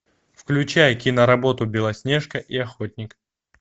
включай киноработу белоснежка и охотник